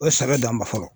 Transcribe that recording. O ye sɛbɛ dan ma fɔlɔ